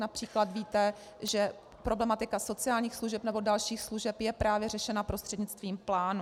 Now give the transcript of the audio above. Například víte, že problematika sociálních služeb nebo dalších služeb je právě řešena prostřednictvím plánu.